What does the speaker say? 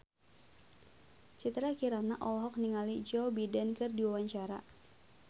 Citra Kirana olohok ningali Joe Biden keur diwawancara